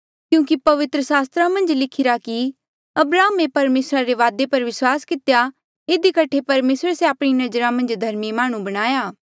क्यूंकि पवित्र सास्त्रा मन्झ लिखिरा कि अब्राहमे परमेसरा रे वादे पर विस्वास कितेया इधी कठे परमेसरे से आपणी नजरा मन्झ धर्मी माह्णुं बणाया